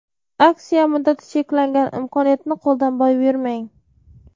Aksiya muddati cheklangan, imkoniyatni qo‘ldan boy bermang.